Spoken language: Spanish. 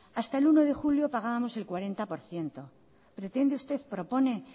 hasta el uno de julio pagábamos el cuarenta por ciento pretende usted propone